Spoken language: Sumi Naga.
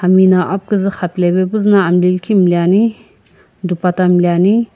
timi na aphikuzu xapulave puzuno amini likhi miniani dupatta miniani.